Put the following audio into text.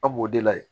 Aw b'o de layɛ